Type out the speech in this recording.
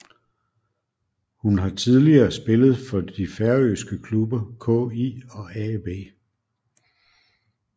Hun har tidligere spillet for de færøske klubber KÍ og AB